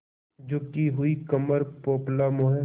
झुकी हुई कमर पोपला मुँह